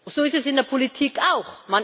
So ist es in der Politik auch.